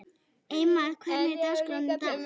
Eymar, hvernig er dagskráin í dag?